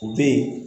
U bɛ yen